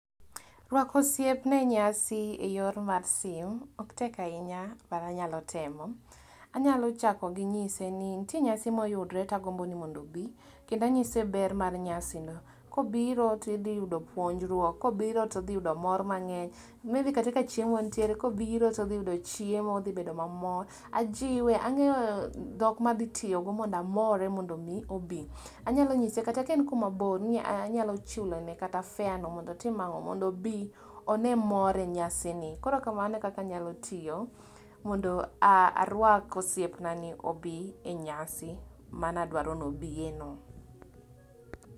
Ruako osiepna e nyasi e yor mar simu ok tek ahinya, but anyalo temo, anyalo chako gi nyise ni nitie nyasi moyudre to agombo mondo obi, kendo anyise ber mar nyasino. Kobiro to idhi yudo puonjruok, kobiro to dhi yudo mor mangeny, maybe kata ka chiemo nitie, kobiro todhi yudo chiemo, odhi bedo mamor. Ajiwe, angeyo dhok ma adhi tiyo go mondo amore mondo obi obi, anyalo nyise kata ka en mabor anyalo chulone kata fare no mondo otim ango, mondo obi one mor e nyasino. Koro kamano e kaka anyalo tiyo mondo arwak osiepna ni obi e nyasi mane adwaro ni obiye no